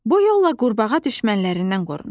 Bu yolla qurbağa düşmənlərindən qorunur.